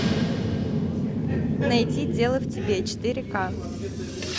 найти дело в тебе четыре ка